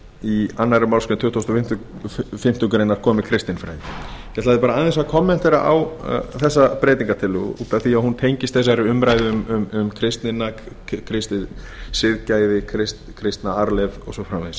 í annarri málsgrein tuttugustu og fimmtu grein komi kristinfræði ég ætlaði aðeins að kommentera á þessa breytingartillögu út af því að hún tengist þessari umræðu um kristnina kristið siðgæði kristna arfleifð og svo framvegis ég